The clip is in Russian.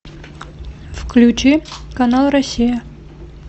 включи канал россия